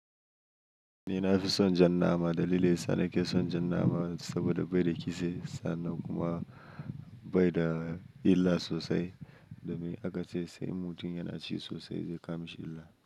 Ni na fi son jan nama. Dalili yasa na ke son jan nama saboda bai da kitse sannan kuma bai da illa sosai. Domin aka ce sai mutum yana ci sosai zai kama shi illa.